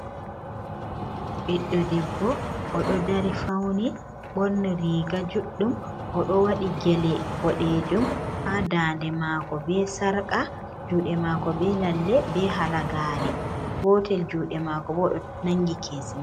Biɗɗo debbo, o ɗo dari fauni ɓorni riga juɗɗum. O ɗo waɗi gele boɗejum ha daande maako be sarƙa juuɗe maako be lalle, be halagaare. Gotel juuɗe maako bo o ɗo nangi kesi.